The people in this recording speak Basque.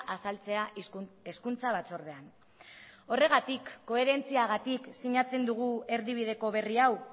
azaltzea hezkuntza batzordean horregatik koherentziagatik sinatzen dugu erdibideko berri hau